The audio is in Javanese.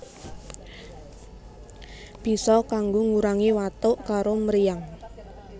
Bisa kanggo ngurangi watuk karo mriyang